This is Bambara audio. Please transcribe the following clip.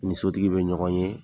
Ni sotigi bɛ ɲɔgɔn ye,